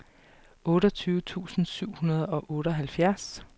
otteogtyve tusind syv hundrede og otteoghalvfjerds